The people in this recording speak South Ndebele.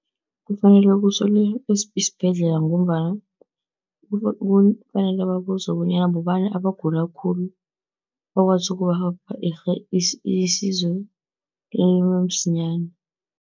Kufanele kusolwe isibhedlela, ngombana kufanele babuze bonyana bobani abagula khulu, bakwazi ukubapha isizo lamsinyana.